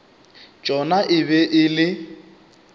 tšona e be e le